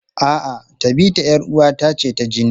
A'a, Tabita 'yar uwata ce ta jini.